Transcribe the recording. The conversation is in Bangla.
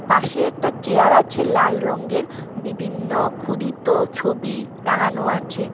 পাশে একটা চেয়ার আছে লাল রঙের বিভিন্ন ক্ষুদিত ছবি টাঙানো আছে।